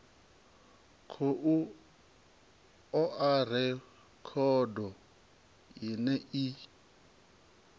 khou oa rekhodo ine i